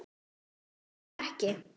Ást var það ekki.